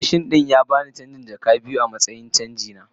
Mai mashin don ya ba no naira jaka biyu wai canji na.